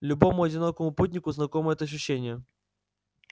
любому одинокому путнику знакомо это ощущение